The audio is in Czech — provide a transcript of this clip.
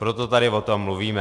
Proto tady o tom mluvíme.